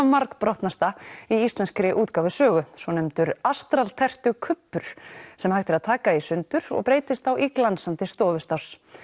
margbrotnasta í íslenskri útgáfusögu svonefndur sem hægt er að taka í sundur og breytist þá í glansandi stofustáss